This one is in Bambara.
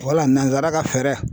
Wala nanzara ka fɛɛrɛ